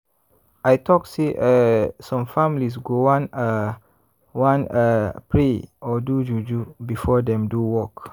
i talk say eeh some families go wan ah wan ah pray or do juju before dem do work.